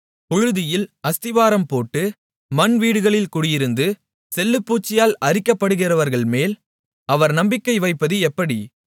புழுதியில் அஸ்திபாரம் போட்டு மண் வீடுகளில் குடியிருந்து செல்லுப்பூச்சியால் அரிக்கப்படுகிறவர்கள்மேல் அவர் நம்பிக்கை வைப்பது எப்படி